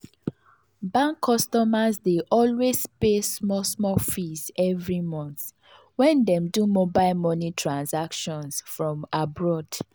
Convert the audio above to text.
bank customers dey always pay small small fees every month when dem do mobile money transactions from abroad.